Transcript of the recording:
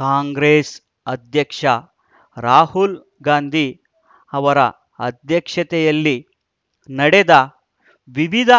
ಕಾಂಗ್ರೆಸ್‌ ಅಧ್ಯಕ್ಷ ರಾಹುಲ್‌ ಗಾಂಧಿ ಅವರ ಅಧ್ಯಕ್ಷತೆಯಲ್ಲಿ ನಡೆದ ವಿವಿಧ